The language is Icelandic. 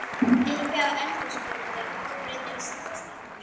Uppi á eldhúsborði að bryðja saltstengur.